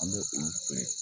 An bɛ olu feere